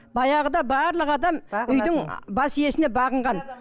баяғыда барлық адам үйдің бас иесіне бағынған